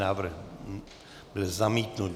Návrh byl zamítnut.